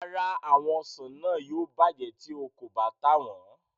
Rárá, àwọn ọsàn náà yóò bàjẹ́ tí o kò bá tà wọn.